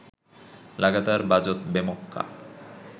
লাগাতার বাজত বেমক্কা